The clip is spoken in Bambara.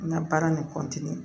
N ka baara nin